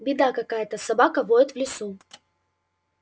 беда какая-то собака воет в лесу